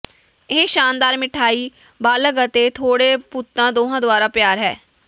ਇਹ ਸ਼ਾਨਦਾਰ ਮਿਠਾਈ ਬਾਲਗ਼ ਅਤੇ ਥੋੜੇ ਭੂਤਾਂ ਦੋਹਾਂ ਦੁਆਰਾ ਪਿਆਰ ਹੈ